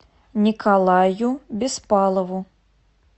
николаю беспалову